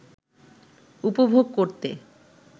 উপভোগ করতে